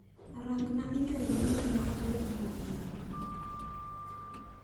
Rang'na imel manyien ma owuok kuom Juma.